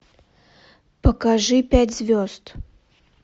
покажи пять звезд